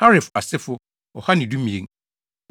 Harif asefo 2 112 1